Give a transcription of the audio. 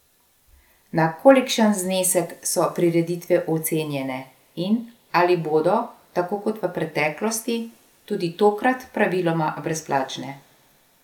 Na kolikšen znesek so prireditve ocenjene in ali bodo, tako kot v preteklosti, tudi tokrat praviloma brezplačne?